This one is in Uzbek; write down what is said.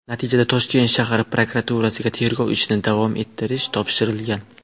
Natijada Toshkent shahar prokuraturasiga tergov ishini davom ettirish topshirilgan.